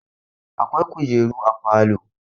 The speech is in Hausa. Akwai kujeru a falo.